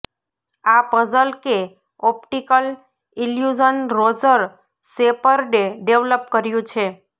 આ પઝલ કે optical illusion Roger શેપર્ડે ડેવલપ કર્યું છે